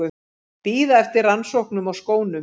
Bíða eftir rannsóknum á skónum